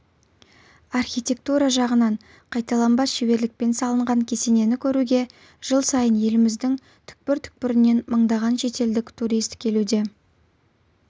архитектура жағынан қайталанбас шеберлікпен салынған кесенені көруге жыл сайын еліміздің түкпір-түкпірінен мыңдаған шетелдік турист келуде